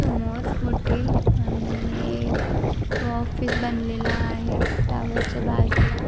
समोर मोठी आ आणि ऑफिस बनलेल आहे टाॅवर च्या बाजुला.